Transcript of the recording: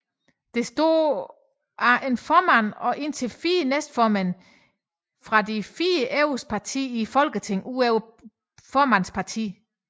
Det består af en formand og indtil fire næstformænd fra de fire største partier i Folketinget udover formandens parti